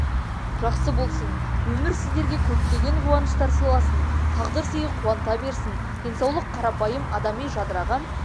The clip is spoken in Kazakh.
жақсы болсын өмір сіздерге көптеген қуаныштар сыйласын тағдыр сыйы қуанта берсін денсаулық қарапайым адами жадыраған